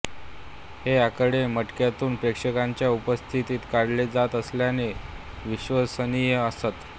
हे आकडे मटक्यातून प्रेक्षकांच्या उपस्थितीत काढले जात असल्याने विश्वसनीय असत